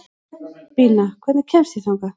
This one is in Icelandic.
Bína, hvernig kemst ég þangað?